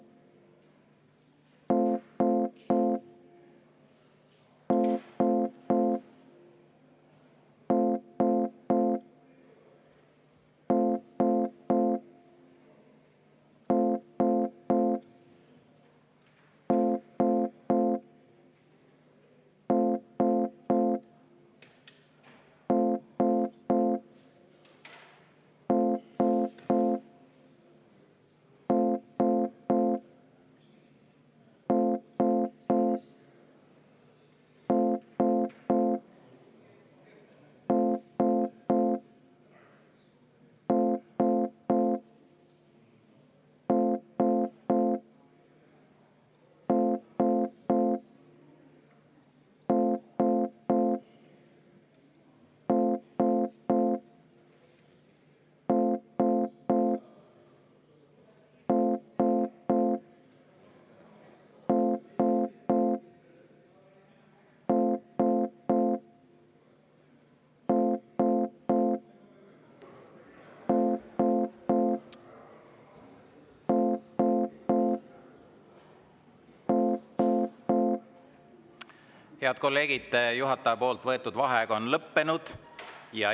Head kolleegid, juhataja võetud vaheaeg on lõppenud.